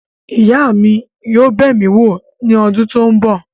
Ìyá mi yóò bẹ̀ mí wò ní ọdún tó ń bọ̀.